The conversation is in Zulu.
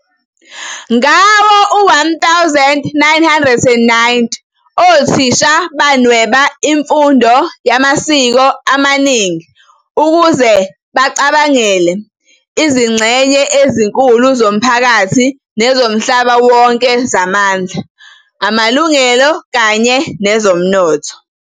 Ngawo-1990, othisha banweba imfundo yamasiko amaningi ukuze bacabangele "izingxenye ezinkulu zomphakathi nezomhlaba wonke zamandla, amalungelo, kanye nezomnotho."